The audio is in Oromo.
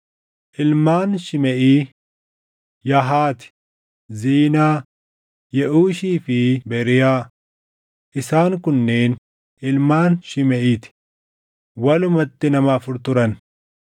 Ilmaan Shimeʼii: Yahaati, Ziinaa, Yeʼuushii fi Beriiyaa. Isaan kunneen ilmaan Shimeʼii ti; walumatti nama afur turan.